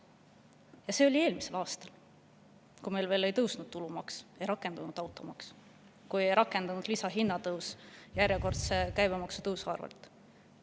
Ja see oli eelmisel aastal, kui meil veel ei olnud tõusnud tulumaks, ei olnud rakendunud automaks ega olnud rakendunud lisahinnatõus järjekordse käibemaksutõusu tõttu.